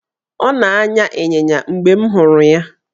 Ọ na-anya ịnyịnya mgbe m hụrụ ya.